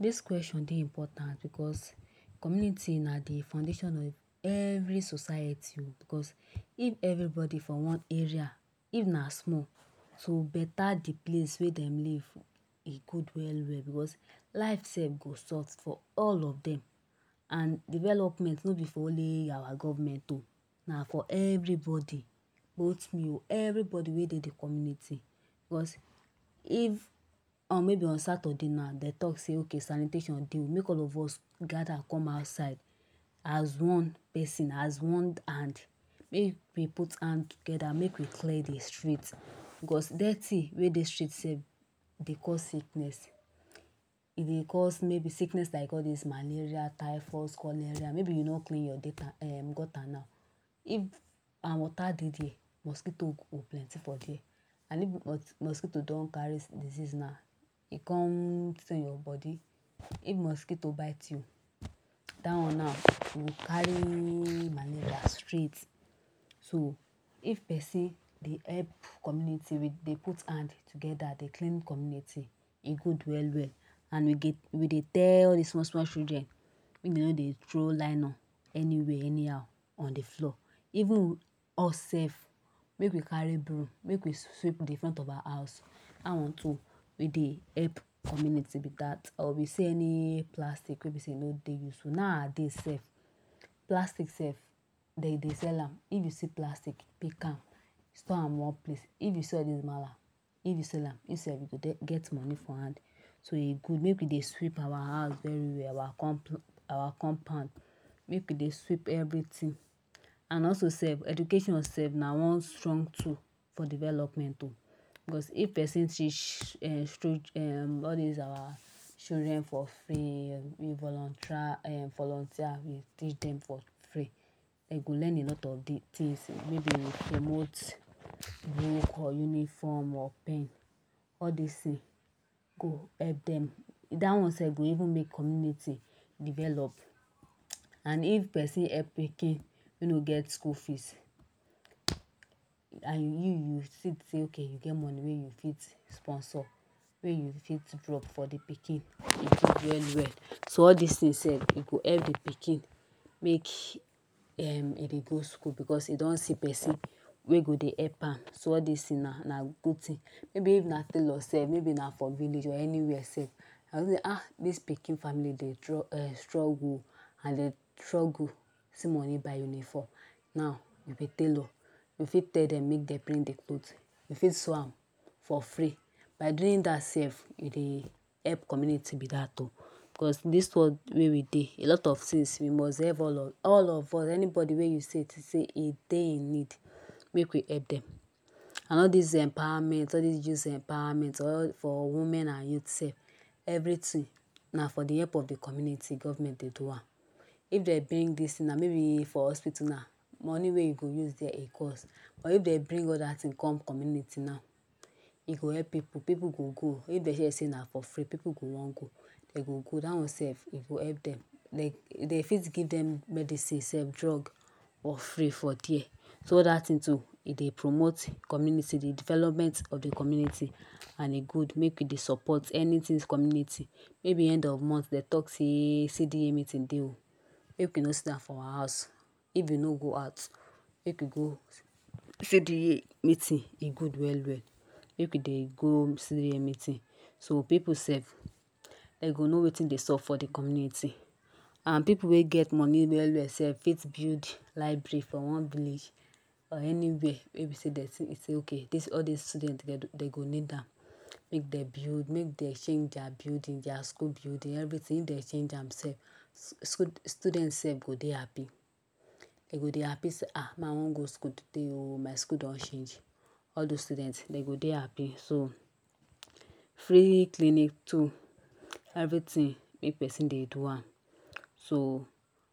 Dis kweshon dey important because community na de foundation of every society [um because if everybody for one area if na small, so better de place wey dem live e good well well because life self go sort for all of dem and development nor b for only our government na for everybody both me everybody wey dey de community, because if maybe on Saturday now dem talk say ok sanitation dey make all of us gather come outside as one person as one hand make we put hand together make we clear de street, because dirty wey dey street self dey cause sickness, e dey cause maybe sickness like all dis malaria, typhoid, cholera maybe you nor clean your gutter now if and water dey there mosquito go plenty for there and if mosquito don carry disease now e come your body, if mosquito bite you dat one now you go carry malaria straight. So if person dey help community with dey put hand together dey clean community e good well well and we dey tell all dis small small children make dem nor dey throw nylon anywhere anyhow on de floor. Even if us self make we carry broom make we sweep de front of our house dat one too dey help de community be dat or we see any plastic wey be say e nor dey useful, now a days self plastic self dem dey sell am. If you see plastic pick am store am one place, if you see all dis mallam if you sell am you self dey go get money for hand. So e good make we dey sweep our house very well our our compound make we dey sweep everything and also self education self na one strong tool for development o, because if person teach um all dis our children for free um volunteer teach dem for free, dem go learn a lot of de things maybe with book or uniform or pen all dis things go help dem, dat one self go even make community develop and if person help pikin wey nor get school fees and you you see say ok you you get money wey you fit sponsor wey you fit drop for de pikin, e good well well. So all dis thing self e go help de pikin make um e dey go school, because e don see person wey go dey help am. So all dis thing now na good thing, maybe if na tailor self maybe na for village or anywhere self you con say um dis pikin family dem dey strug struggle um, as dem dey struggle see money buy uniform now you be tailor, you fit tell dem make dem bring de cloth, you fit sew am for free, by doing dat self you dey help community be dat o, because dis world wey we dey so a lot of things you must help all of all of us anybody wey you think sey see sey e dey in need make we help dem and all dis empowerment all dis empowerment for women and youth self everything na for de help of de community government dey do am. If dem bring dis thing now maybe for hospital now, money wey you go use there e cost but if dem bring other things come community now e go help pipu, pipu go go, if dem hear say na for free pipu go want go dem go go, dat one self e go help dem, de dey fit give dem medicine, sef drug for free for there. So all dat thing too e dey promote community development of de community and e good make we dey support anything community. Maybe end of month dem talk say CDA meeting dey make we nor sidan for our house, if we nor go out make we go, CDA meeting e good well well make we dey go CDA meeting. So pipu self dem go know wetin dey sop for de community and pipu wey get money well well sef fit build library for one village or anywhere wey be sey dem say ok all dis student dem go need am make dem build make dem change their building their school building everything if dem change am self student self go dey happy, dem go dey happy say um me I want go school today um my school don change, all dis student dem go dey happy. So free clinic too everything make person dey do am. So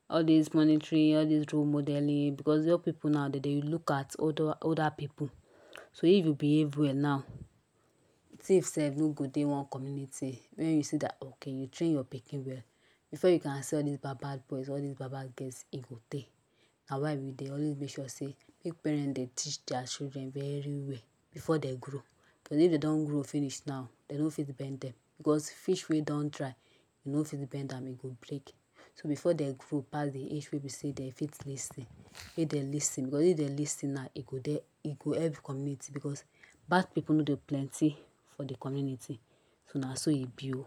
all dis monetary, all dis role modeling, because young pipu dem dey look at older older pipu, so if you behave well now thief self nor go dey one community, wen you see dat ok you train your pikin well before you can say all dis bad bad boys all dis bad bad girls e go tey, na why we dey always make sure sey make parents dey teach their children very well before dem grow, because if dem don grow finish now dem nor fit dey bend dem because fish wey don dry you nor go fit dey bend am again e go break, So before dem grow pass de age wey dem fit lis ten make dem lis ten, because if dem lis ten now e go dey e go help community because bad pipu nor dey plenty for de community. So na so e be o.